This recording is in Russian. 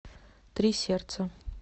три сердца